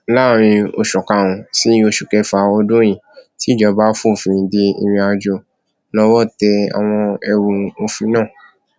láàrin oṣù karùnún sí oṣù kẹfà ọdún yìí tíjọba fòfin de ìrìnàjò lọwọ tẹ àwọn ẹrù òfin náà